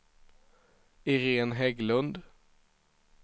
Iréne Hägglund